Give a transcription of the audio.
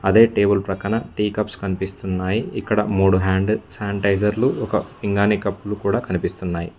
అదే టేబుల్ ప్రక్కన tea cups కనిపిస్తున్నాయి ఇక్కడ మూడు హ్యాండ్ శానిటైజర్లు ఒక పింగాణి కప్పులు కూడా కనిపిస్తున్నాయి.